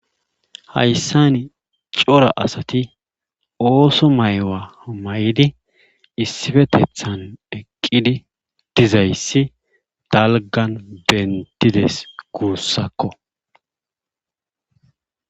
Haysssani cora asati ooso mayuwa mayidi issifetethan eqqidi dizayssi dalggan benttides guussakko.